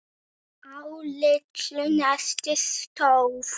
Á litlu nesi stóð